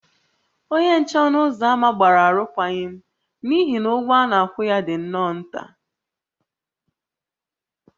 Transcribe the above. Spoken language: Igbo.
Onye nche ọnụ ụzọ ámá gbara arụkwaghịm n’ihi na ụgwọ a na-akwụ ya dị nnọọ nta